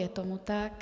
Je tomu tak.